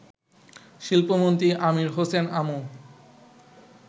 শিল্পমন্ত্রী Amir Hossain Amu